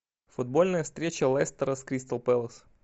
футбольная встреча лестера с кристал пэлас